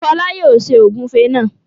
Fọlá yóò ṣe ògúnfe náà.